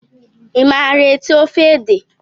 Ị maara ete ofe ede?